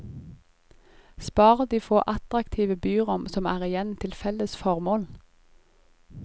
Spar de få attraktive byrom som er igjen til felles formål.